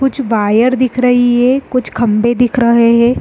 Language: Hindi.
कुछ बायर दिख रही है कुछ खंबे दिख रहे हैं।